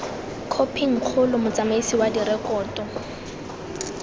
khophing kgolo motsamaisi wa direkoto